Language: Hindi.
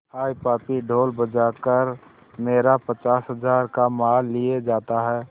हाय पापी ढोल बजा कर मेरा पचास हजार का माल लिए जाता है